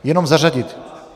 Jenom zařadit.